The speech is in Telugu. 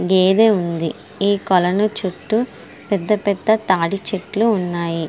గేదె ఉంది. ఈ కొలను చుట్టూ పెద్ద పెద్ద తాడి చెట్లు ఉన్నాయి.